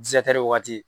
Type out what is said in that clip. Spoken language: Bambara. wagati